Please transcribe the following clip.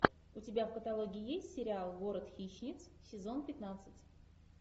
у тебя в каталоге есть сериал город хищниц сезон пятнадцать